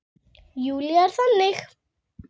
Júlía er þannig.